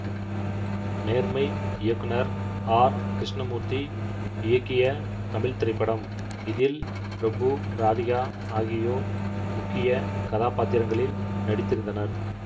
நேர்மை இயக்குனர் ஆர் கிருஷ்ணமூர்த்தி இயக்கிய தமிழ் திரைப்படம் இதில் பிரபு ராதிகா ஆகியோர் முக்கிய கதாபாத்திரங்களில் நடித்திருந்தனர்